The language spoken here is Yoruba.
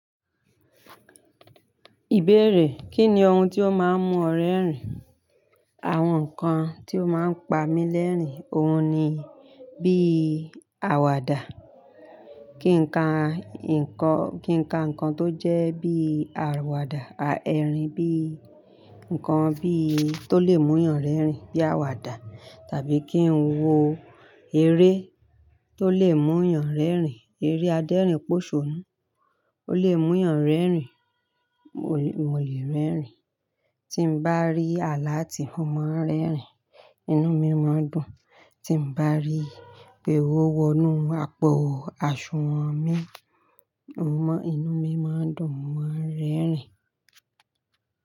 Ìbéèrè, Kí ni ohun tí o máa ń mú ọ rẹ́rìn? Àwọn nǹkan tí ó máa ń pa mí lẹ́rìn, ohun ni bí àwàdà. Kí n ka, nǹkan, kí ǹ ka nǹkan tó jẹ́ bí àwàdà erìn bí, ǹkan bí tó lè mú yàn rẹ́rìn bí àwàdà, tàbí kí n wo eré tó lè mú'yàn rẹ́rìn. Eré adẹ́rìn pòṣọ̀nù, ó lè mú yàn rẹ́rìn, mo lè, mo lè rẹ́rìn. Tí n bá rí àlátí mo máa ń rẹ́rìn, inú mi máa dùn. Tí n bá rí pé ówo wọnú àpò àsunwọ̀n mi, mo maa n inú mi máa dùn, mo máa rẹ́rìn.